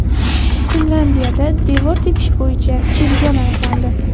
Finlyandiyada devor tepish bo‘yicha chempion aniqlandi .